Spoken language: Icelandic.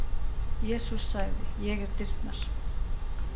Jesús sagði: Ég er dyrnar.